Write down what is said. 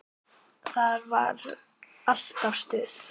Það var alltaf stuð.